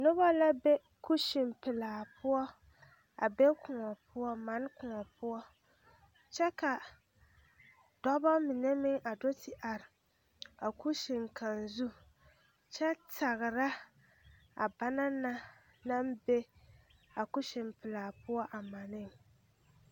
Noba la be kusinpelaa poɔ a be koɔ poɔ mane koɔ poɔ kyɛ ka dɔba mine meŋ a do te are a kusin kaŋ zu kyɛ tagra a bana na naŋ be a kusinpelaa poɔ a maneŋ.